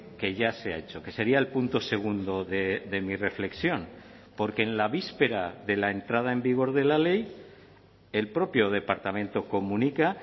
que ya se ha hecho que sería el punto segundo de mi reflexión porque en la víspera de la entrada en vigor de la ley el propio departamento comunica